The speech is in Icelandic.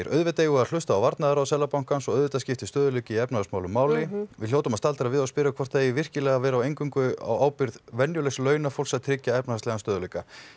auðvitað eigum við að hlusta á varnaðarorð Seðlabankans og auðvitað skiptir stöðugleiki í efnahagsmálum máli en við hljótum að staldra við og spyrja hvort það eigi virkilega að vera eingöngu á ábyrgð venjulegs launafólks að tryggja efnahagslegan stöðugleika